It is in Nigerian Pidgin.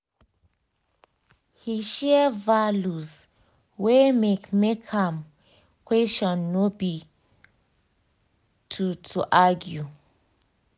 he share values wey make make am question no be to to argue